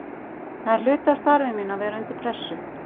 Það er hluti af starfi mínu að vera undir pressu.